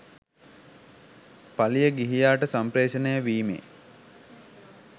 පාලිය ගිහියාට සම්පේ්‍රෂණය වීමේ